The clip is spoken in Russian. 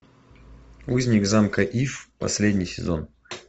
узник замка иф последний сезон